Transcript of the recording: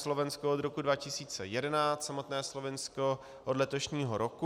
Slovensko od roku 2011, samotné Slovinsko od letošního roku.